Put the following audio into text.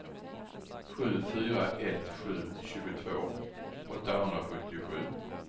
sju fyra ett sju tjugotvå åttahundrasjuttiosju